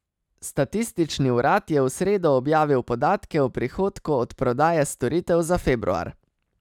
Statistični urad je v sredo objavil podatke o prihodku od prodaje storitev za februar.